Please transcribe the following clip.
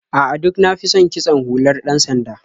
A'a, duk na fi son kitson hular ɗan-sanda.